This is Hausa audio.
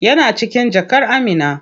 Yana cikin jakar Amina.